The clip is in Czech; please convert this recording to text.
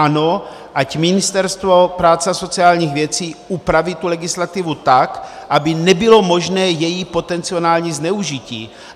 Ano, ať Ministerstvo práce a sociálních věcí upraví tu legislativu tak, aby nebylo možné její potenciální zneužití.